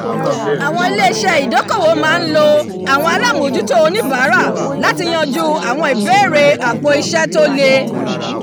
awọn ilé-iṣẹ́ ìdókòwò máa ń lo àwọn alamojuto onibaara lati yanjú àwọn ìbéèrè àpò-iṣẹ́ to le